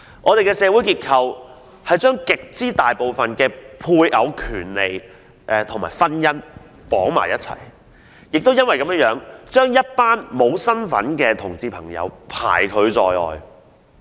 我們的社會制度是將絕大部分配偶權利與婚姻捆綁在一起，亦因為如此，一群在法律上沒有身份的同志朋友便被拒諸門外。